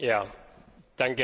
Herr Präsident!